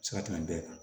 Se ka tɛmɛ bɛɛ kan